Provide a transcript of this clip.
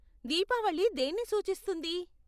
దీపావళి దేన్ని సూచిస్తుంది?